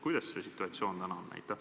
Kuidas see situatsioon täna on?